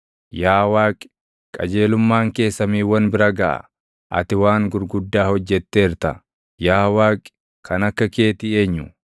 Yaa Waaqi, qajeelummaan kee samiiwwan bira gaʼa; ati waan gurguddaa hojjetteerta; yaa Waaqi, kan akka keetii eenyu?